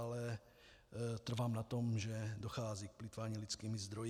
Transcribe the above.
Ale trvám na tom, že dochází k plýtvání lidskými zdroji.